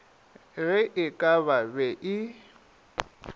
ge e ka be e